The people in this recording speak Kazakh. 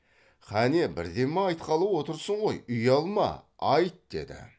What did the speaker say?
кәне бірдеме айтқалы отырсың ғой ұялма айт деді